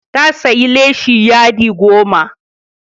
Ta sayi leshi yadi goma.